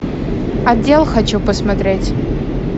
отдел хочу посмотреть